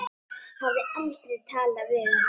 Hafði aldrei talað við hann.